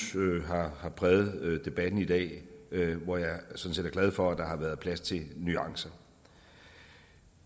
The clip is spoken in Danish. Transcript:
har præget debatten i dag hvor jeg sådan set er glad for at der har været plads til nuancer